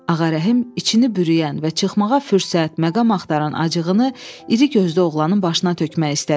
Ağarəhim içini bürüyən və çıxmağa fürsət, məqam axtaran acığını iri gözlü oğlanın başına tökmək istədi.